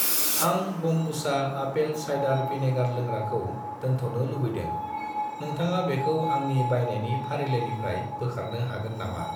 आं ब'म्बुचा apple cider vinegar लोंग्राखौ दोनथ'नो लुबैदों, नोंथाङा बेखौ आंनि बायनायनि फारिलाइनिफ्राय बोखारनो हागोन नामा?